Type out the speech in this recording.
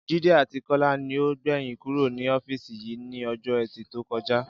Jídé àti Kó̩lá ni ó gbè̩yìn kúrò ní ó̩fíìsì yìí ní o̩jó̩ E̩tì tó ko̩ja